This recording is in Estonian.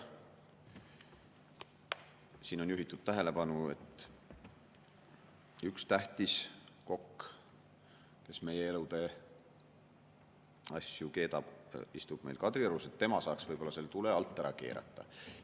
Siin on juhitud tähelepanu, et üks tähtis kokk, kes meie elutee asju keedab, istub Kadriorus, tema saaks võib-olla selle tule alt ära keerata.